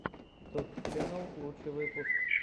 тотт ченнал лучший выпуск